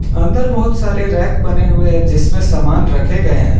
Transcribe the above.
अंदर बहुत सारे रैक बने हुए हैं जिसमें सामान रखे गए हैं।